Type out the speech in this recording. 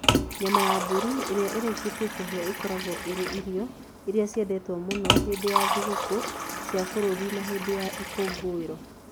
Nyama ya mbũri ĩrĩa ĩrĩkĩtie kũhĩa ĩkoragwo ĩrĩ irio iria ciendetwo mũno hĩndĩ ya thigũkũ cia bũrũri na hĩndĩ ya ikũngũĩro.